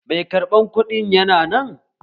Mai karɓan kuɗin yana nan?